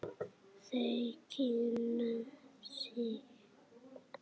Þau kynna sig.